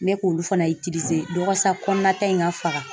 Ne be k'olu fana walasa kɔnɔna ta in ka faga.